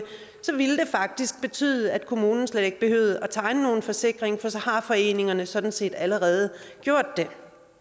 faktisk betyde at kommunerne slet ikke behøvede at tegne nogen forsikringer for så har foreningerne sådan set allerede gjort det